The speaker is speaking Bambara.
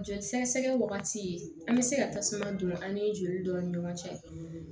Joli sɛgɛsɛgɛ wagati an bɛ se ka tasuma don an ni joli dɔn ni ɲɔgɔn cɛ